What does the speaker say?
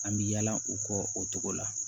An bɛ yala u kɔ o togo la